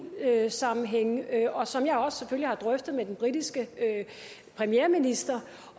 sammenhænge og som jeg selvfølgelig også har drøftet med den britiske premierminister